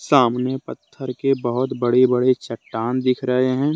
सामने पत्थर के बहोत बड़े बड़े चट्टान दिख रहे हैं।